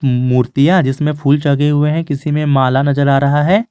मूर्तियां जिसमें फूल चढ़े हुए हैं किसी में माल नजर आ रहा है।